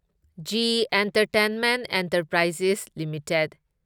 G entertainment enterprises limited